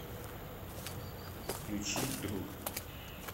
включи друг